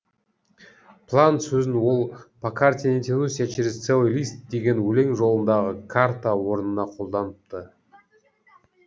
план сөзін ол по карте не тянусь я через целый лист деген өлең жолындағы карта орнына қолданыпты